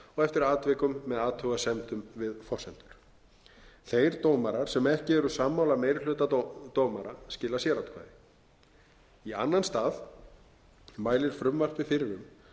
eftir atvikum með athugasemdum við forsendur þeir dómarar sem ekki eru sammála meiri hluta dómara skila sératkvæði í annan stað mælir frumvarpið fyrir um að við